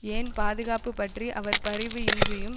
ஏன் பாதுகாப்பு பற்றி அவர் பரிவு இன்றியும்